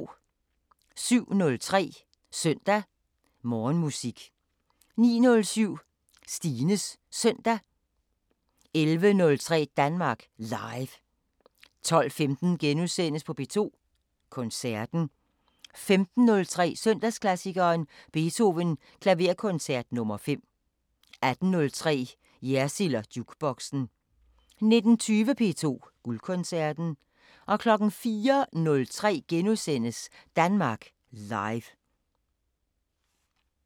07:03: Søndag Morgenmusik 09:07: Stines Søndag 11:03: Danmark Live 12:15: P2 Koncerten * 15:03: Søndagsklassikeren – Beethoven: Klaverkoncert nr. 5 18:03: Jersild & Jukeboxen 19:20: P2 Guldkoncerten 04:03: Danmark Live *